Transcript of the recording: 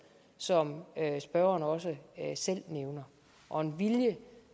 som spørgeren også selv nævner og en vilje